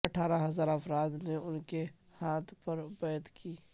اٹھارہ ہزار افراد نے ان کے ہاتھ پر بیعت کی